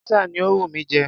Pizza ni ó wù mí jẹ.